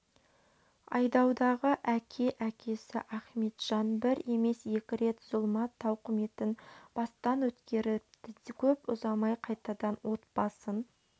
айдаудағы әке әкесі ахметжан бір емес екі рет зұлмат тауқыметін бастан өткеріпті көп ұзамай қайтадан отбасын